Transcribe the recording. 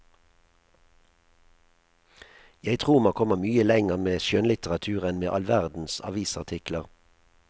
Jeg tror man kommer mye lenger med skjønnlitteratur enn med all verdens avisartikler.